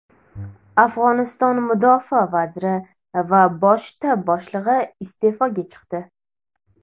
Afg‘oniston mudofaa vaziri va bosh shtab boshlig‘i iste’foga chiqdi.